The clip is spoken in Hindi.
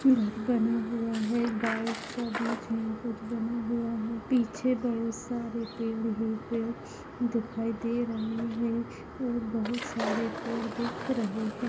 घर बना हुआ है व्हाइट सा बीच मे कुछ बना हुआ है पीछे बहुत सारे पेड़ है पेड़ दिखाई दे रहे है और बहोत सारे पेड़ दिख रहे है।